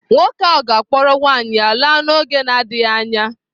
Nwoke ahụ ga-akpọrọ nwaanyị ya laa n’oge na-adịghị anya.